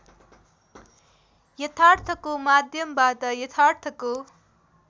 यथार्थको माध्यमबाट यथार्थको